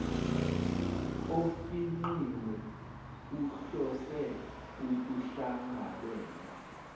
ofingqiwe uhlose ukuhlangabeza